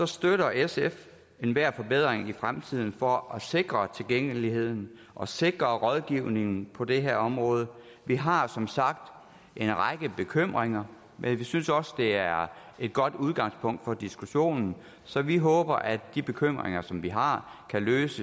støtter sf enhver forbedring i fremtiden for at sikre tilgængeligheden og sikre rådgivningen på det her område vi har som sagt en række bekymringer men vi synes også det er et godt udgangspunkt for diskussionen så vi håber at de bekymringer som vi har kan ryddes